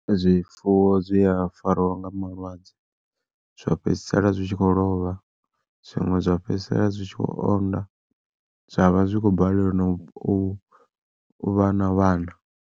Zwifuwo zwi a fariwa nga malwadze, zwa fhedzisela zwitshi kho lovha zwiṅwe zwa fhedzisela zwi tshi khou onda zwavha zwi kho balelwa na u vha na vhana.